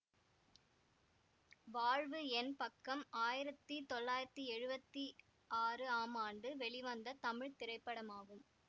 வாழ்வு என் பக்கம் ஆயிரத்தி தொள்ளாயிரத்தி எழுவத்தி ஆறு ஆம் ஆண்டு வெளிவந்த தமிழ் திரைப்படமாகும்